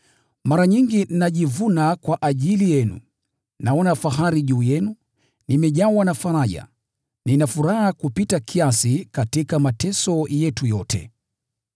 Mara nyingi najivuna kwa ajili yenu; naona fahari juu yenu. Nimejawa na faraja. Nina furaha kupita kiasi katika mateso yetu yote.